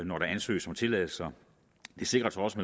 når der ansøges om tilladelser der sikres også